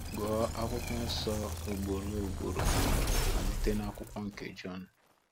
Gụọ akwụkwọ nsọ ugboro ugboro, malite na akwụkwọ nke Jon.